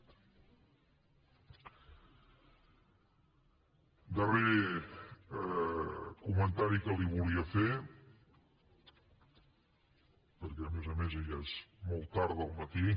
darrer comentari que li volia fer perquè a més a més ja és molt tard del matí